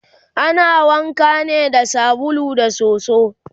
ana wanka ne da sabulu da soso